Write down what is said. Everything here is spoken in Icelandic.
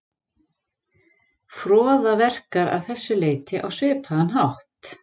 Froða verkar að þessu leyti á svipaðan hátt.